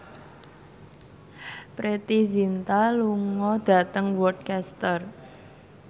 Preity Zinta lunga dhateng Worcester